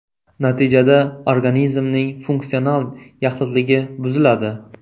Natijada organizmning funksional yaxlitligi buziladi.